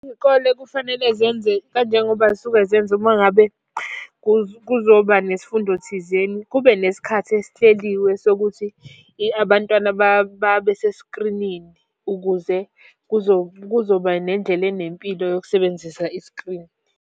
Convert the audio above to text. Iy'kole kufanele zenze kanjengoba zisuke zenza uma ngabe kuzoba nesifundo thizeni. Kube nesikhathi esihleliwe sokuthi abantwana babeseskrinini. Ukuze, kuzo kuzoba nendlela enempilo yokusebenzisa iskrini.